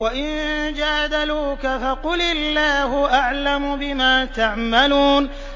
وَإِن جَادَلُوكَ فَقُلِ اللَّهُ أَعْلَمُ بِمَا تَعْمَلُونَ